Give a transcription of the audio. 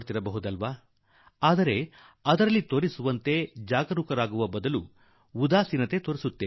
ನು ನೋಡುತ್ತಿರಬಹುದು ಆದರೆ ನಾವು ಈ ಕುರಿತು ಎಚ್ಚರದ ಕ್ರಮದ ಸಂಬಂಧದಲ್ಲಿ ಸ್ವಲ್ಪ ಉದಾಸೀನರಾಗುತ್ತೇವೆ